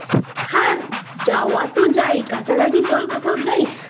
হ্যাঁ যাওয়া তো যায় কাছাকাছি চল কোথাও যাই